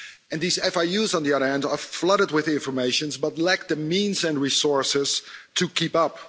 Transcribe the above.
And these FIUs on the other hand are flooded with information but lack the means and resources to keep up.